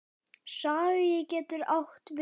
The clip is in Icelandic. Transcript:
Skagi getur átt við